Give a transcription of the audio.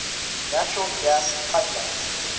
natural gas pipelines